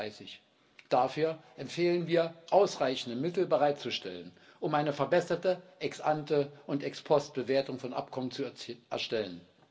2030. Dafür empfehlen wir, ausreichende Mittel bereitzustellen, um eine verbesserte Ex ante und Ex post Bewertung von Abkommen zu erstellen.